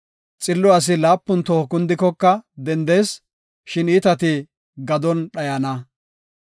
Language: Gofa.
Xillo asi laapun toho kundikoka dendees; shin iitati gadon dhayana.